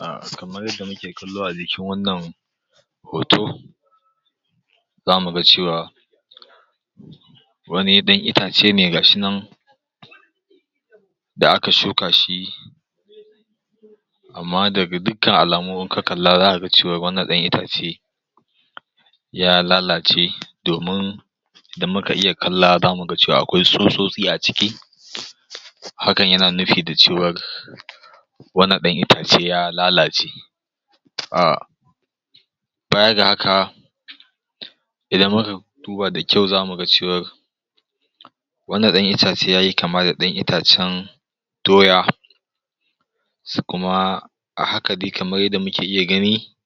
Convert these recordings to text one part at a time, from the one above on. A kamar yadda muke kallo a jikin wannan hoto, za mu ga cewa wani ɗan itace ne ga shi nan da aka shuka shi amma daga dukan alamu in ka kalla zaka ga cewa wannan ɗan itace ya lalace domin isdan muka iya kalla za mu ga cewa akwai tsutsotsi a ciki, hakan yana nufi da cewar wannan ɗan itace ya lalace. um baya ga haka, idan muka duba da kyau za mu ga cewar, wannan ɗan itace yayi kama da ɗan itacen doya, sai kuma a haka dai kamar yadda muke iya gani,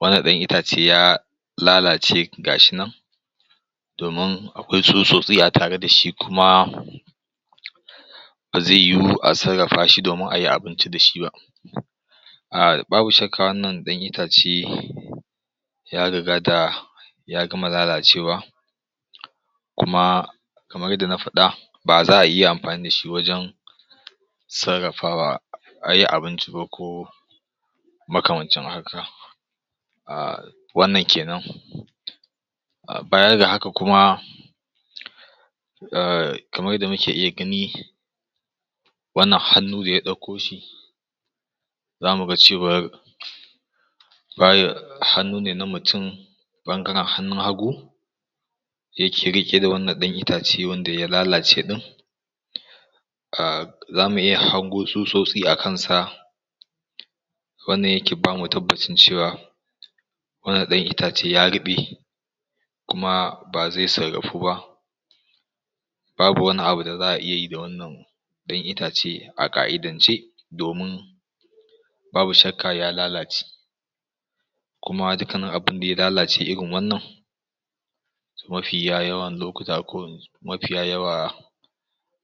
wannan ɗan ita ya lalace ga shi nan domin akwai tsutsotsi a tare da shi kuma, ba zai yiwu a sarrafa domin ayi abinci da shi ba. um babu shakka wannan ɗan itace, ya rigata ya gama lalacewa kuma kamar yadda na faɗa, baza'a iya amfani da shi wajen sarrafawa ayi abinci ba ko, makamancin haka. um wannan kenan baya ga haka kujma, um kamar yadda muke iya gani, wannan hannu da ya ɗauko shi, za mu ga cewar, hannu ne na mutum ɓangaren hannun hagu, yake riƙe da wannan ɗan itace wanda ya lalace ɗin, um zamu iya hango tsutsotsi a kansa wannan yake bamu tabbacin cewa wannan ɗan itace ya ruɓe kuma ba zai sarrafu ba. babu wani abu da za'a sda wannan ɗan itace a ka'idance, domin babu shakka ya lalace. Kuma dukkanin abunda ya lalace irin wannan mafiya yawan lokuta ko mafiya yawa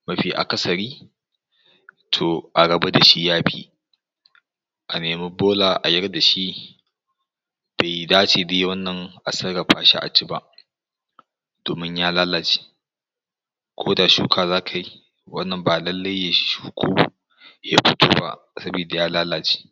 mafi akasari, to a rabu da shi yafi. A nemi bola a yar da shi, bai dace dai wannan a sarafa shi a ci ba, domin ya lalace ko da shuka za ka yi, wannan ba lallai, ya shuku, ya fito ba sabida ya lalace.